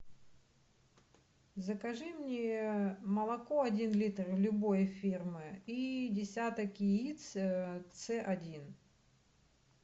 закажи мне молоко один литр любой фирмы и десяток яиц ц один